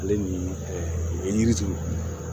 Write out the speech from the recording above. Ale ni yiri turu